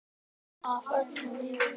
Og að öllum liði vel.